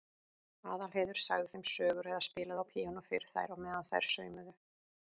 Aðalheiður sagði þeim sögur eða spilaði á píanó fyrir þær á meðan þær saumuðu.